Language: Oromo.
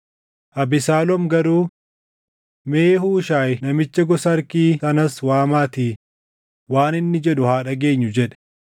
Abesaaloom garuu, “Mee Huushaayi namicha gosa Arkii sanas waamaatii waan inni jedhu haa dhageenyu” jedhe.